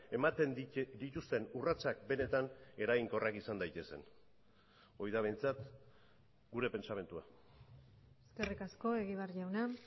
ematen dituzten urratsak benetan eraginkorrak izan daitezen hori da behintzat gure pentsamendua eskerrik asko egibar jauna